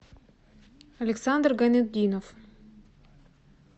александр гайнутдинов